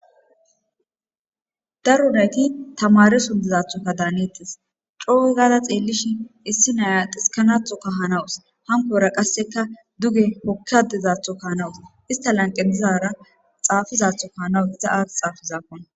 daru nayti tamare sundizathoka daaneetis cooegaada xeellishin issi naya diskanathoka hanawus hankora qasseka duge pokkadizatho kahanawus ista lanqedizara xaafizatho ka hanawus iza aat xaafizaakon